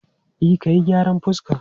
E, ka yi gyaran fuska.